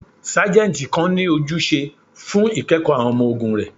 Sajenti kan ni ojuse fun ikẹkọ awọn ọmọ-ogun rẹ